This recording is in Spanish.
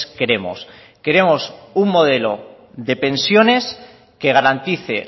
queremos queremos un modelo de pensiones que garantice